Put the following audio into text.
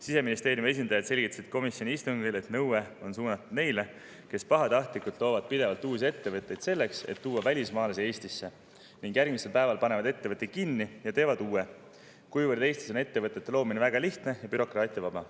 Siseministeeriumi esindajad selgitasid komisjoni istungil, et nõue on suunatud neile, kes pahatahtlikult loovad pidevalt uusi ettevõtteid selleks, et tuua välismaalasi Eestisse, ning järgmisel päeval panevad ettevõtte kinni ja teevad uue, kuivõrd Eestis on ettevõtete loomine väga lihtne ja bürokraatiavaba.